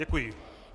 Děkuji.